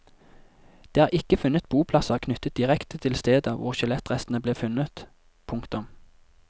Det er ikke funnet boplasser knyttet direkte til stedet hvor skjelettrestene ble funnet. punktum